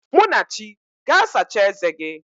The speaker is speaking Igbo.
Munachi, gaa sachaa eze gị!